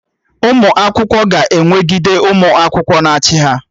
Ụmụ akwụkwọ ga-enwegide ụmụ akwụkwọ na-achị ha